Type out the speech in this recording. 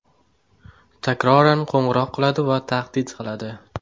takroran qo‘ng‘iroq qiladi va tahdid qiladi.